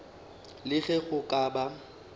le ge go ka ba